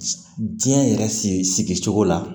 Diɲɛ yɛrɛ sigicogo la